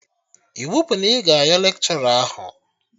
Iwu bụ na ị ga ayọ lekshọra ahụ!